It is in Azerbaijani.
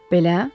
Belə.